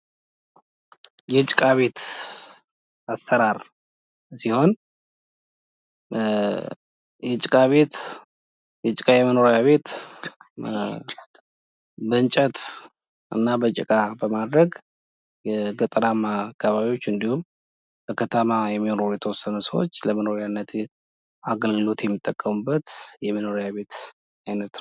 የጭቃ ቤት አሰራር ሲሆን የጭቃ ቤት ፤ የጭቃ የመኖሪያ ቤት በእንጨት እና በጭቅ በማድረግ የገጠራማ አካባቢዎች እንዲሁም በቀጠናዋ የሚኖሩ የተወሰኑ ሰዎች ለመኖሪያነት አገልግሎት የሚጠቀሙበት የመኖሪያ ቤት አይነት ነው።